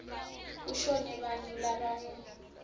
kushone bantfu labangu